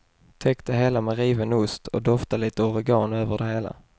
Täck det hela med riven ost och dofta lite oregano över det hela.